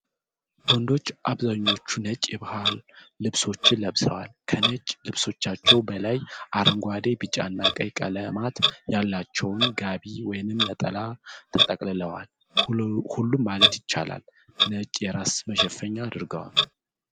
ወንዶቹ አብዛኛዎቹ ነጭ የባህል ልብሶችን ለብሰዋል፤ ከነጭ ልብሳቸው በላይ አረንጓዴ፣ ቢጫ እና ቀይ ቀለማት ያላቸውን ጋቢ ወይም ነጠላ ተጠቅልለዋል። ሁሉም ማለት ይቻላል ነጭ የራስ መሸፈኛ አድርገዋል።